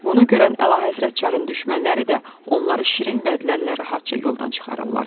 Bunu görən Əlahəzrət Çarın düşmənləri də onları şirin vədlərlə rahatca yoldan çıxarırlar.